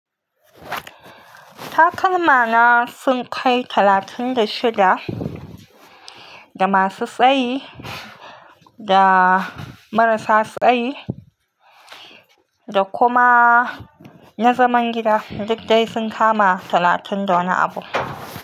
Takalma na sun kai talatin da shida, da masu tsayi, da marasa tsayi, da kuma na zaman gida duk dai sun kama talatin da wani abu.